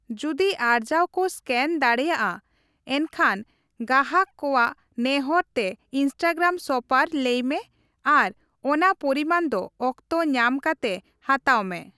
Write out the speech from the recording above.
ᱡᱩᱫᱤ ᱟᱨᱡᱟᱣ ᱠᱚ ᱮᱥᱠᱮᱱ ᱫᱟᱲᱮᱭᱟᱜᱼᱟ, ᱮᱱᱷᱟᱱ ᱜᱟᱦᱟᱠ ᱠᱚᱣᱟᱜ ᱱᱮᱦᱚᱨ ᱛᱮ ᱤᱥᱴᱟᱜᱨᱟᱢ ᱥᱚᱯᱟᱨ ᱞᱟᱹᱭ ᱢᱮ ᱟᱨ ᱚᱱᱟ ᱯᱚᱨᱤᱢᱟᱱ ᱫᱚ ᱚᱠᱛᱚ ᱧᱟᱢ ᱠᱟᱛᱮ ᱦᱟᱛᱟᱣ ᱢᱮ ᱾